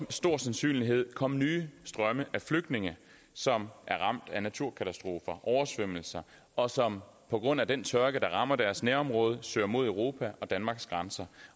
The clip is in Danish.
stor sandsynlighed komme nye strømme af flygtninge som er ramt af naturkatastrofer oversvømmelser og som på grund af den tørke der rammer deres nærområde søger mod europa og danmarks grænser